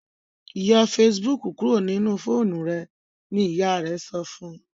yọ Facebook kúrò nínú fóònù rẹ! ní ìyá rẹ sọfún